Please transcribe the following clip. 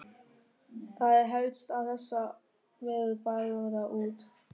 Það er helst að þessar verur fari þar út.